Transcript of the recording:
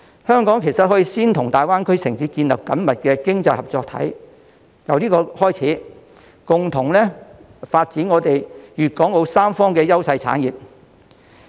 香港其實可以先與大灣區城市建立緊密的經濟合作體，進而共同發展粵港澳三方的優勢產業。